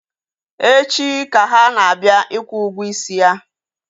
Echi ka ha na-abịa ịkwụ ụgwọ isi ya